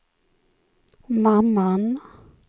mamman